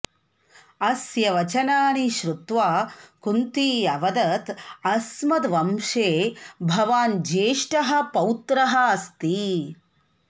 अस्य वचनानि श्रुत्वा कुन्ती अवदत् अस्मद्वंशे भवान् ज्येष्ठः पौत्रः अस्ति